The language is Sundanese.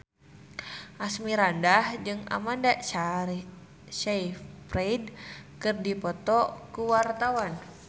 Asmirandah jeung Amanda Sayfried keur dipoto ku wartawan